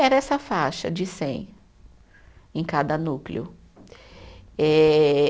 Era essa faixa de cem em cada núcleo. Eh